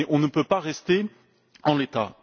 mais on ne peut pas rester en l'état.